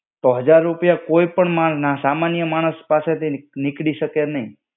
તો હજાર રૂપિયા કોઈપણ માન સામાન્ય માણસ પાસેથી ની નીકળી શકે નહીં.